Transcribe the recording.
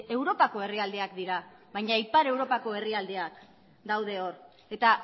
europako herrialdeak dira baina ipar europako herrialdeak daude hor eta